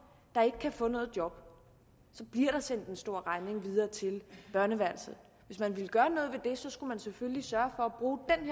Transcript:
der ikke kan få noget job så bliver der sendt en stor regning videre til børneværelset hvis man ville gøre noget ved det skulle man selvfølgelig sørge for